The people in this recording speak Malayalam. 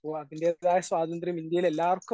അപ്പൊ അതിന്റെതായ സ്വാതന്ത്ര്യം ഇന്ത്യയിൽ എല്ലാവർക്കും